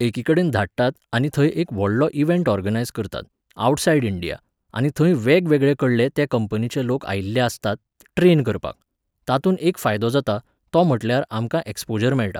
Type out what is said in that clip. एकीकडेन धाडटात आनी थंय एक व्हडलो इवँट ऑर्गनायज करतात, आवटसायड इंडिया, आनी थंय वेगवेगळेकडले त्या कंपनीचे लोक आयिल्ले आसतात ट्रेन करपाक. तातूंत एक फायदो जाता, तो म्हटल्यार आमकां ऍक्स्पोजर मेळटा.